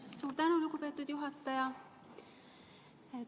Suur tänu, lugupeetud juhataja!